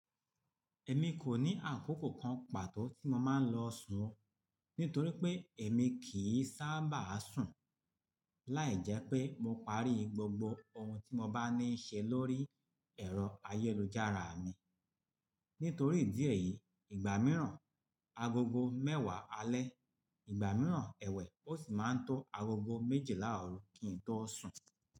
Ẹ̀mi kò ní àkókò kan pàtó tí mo máa ń lọ sùn, nítorí pé ẹ̀mi kì í sábà sùn, láìjẹ́ pé mo parí gbogbo ohun tí mo bá ní í ṣe lórí ẹ̀rọ ayélujára mi. Nítorí ìdí èyí, ìgbà mìíràn agogo mẹ́wàá alẹ́, ìgbà mìíràn ẹwẹ́ ó sì máa ń tó agogo méjìlá ọrùn kí n tó sùn.